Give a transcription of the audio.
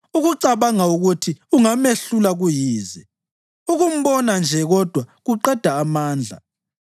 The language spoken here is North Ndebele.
Ukucabanga ukuthi ungamehlula kuyize; ukumbona nje kodwa kuqeda amandla.